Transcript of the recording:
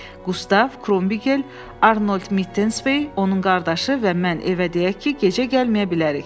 Qustav, Krombigel, Arnold Mitenspey, onun qardaşı və mən evə deyək ki, gecə gəlməyə bilərik.